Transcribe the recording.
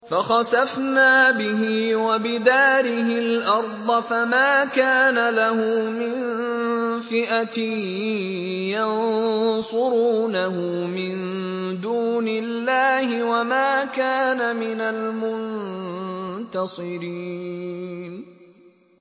فَخَسَفْنَا بِهِ وَبِدَارِهِ الْأَرْضَ فَمَا كَانَ لَهُ مِن فِئَةٍ يَنصُرُونَهُ مِن دُونِ اللَّهِ وَمَا كَانَ مِنَ الْمُنتَصِرِينَ